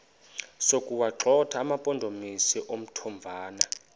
sokuwagxotha amampondomise omthonvama